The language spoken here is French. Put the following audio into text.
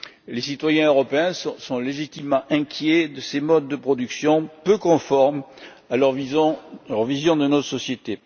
Les citoyens européens sont légitimement inquiets de ces modes de production peu conformes à leur vision de nos sociétés.